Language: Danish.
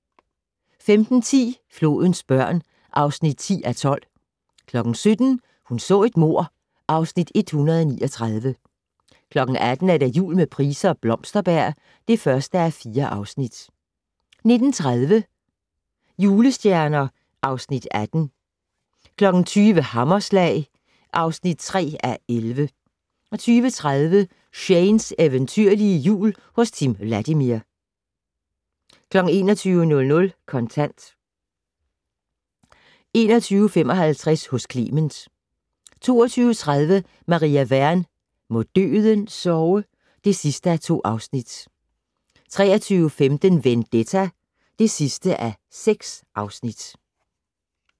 15:10: Flodens børn (10:12) 17:00: Hun så et mord (Afs. 139) 18:00: Jul med Price og Blomsterberg (1:4) 19:30: Julestjerner (Afs. 18) 20:00: Hammerslag (3:11) 20:30: Shanes eventyrlige Jul hos Timm Vladimir 21:00: Kontant 21:55: Hos Clement 22:30: Maria Wern: Må døden sove (2:2) 23:15: Vendetta (6:6)